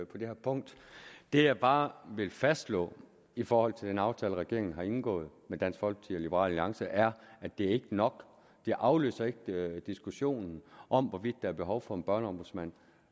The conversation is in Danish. på det her punkt det jeg bare vil fastslå i forhold til den aftale regeringen har indgået med dansk folkeparti og liberal alliance er at det ikke er nok det aflyser ikke diskussionen om hvorvidt der er behov for en børneombudsmand